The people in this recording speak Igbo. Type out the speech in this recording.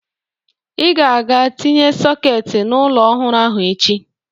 Ị ga-aga tinye sọketị n'ụlọ ọhụrụ ahụ echi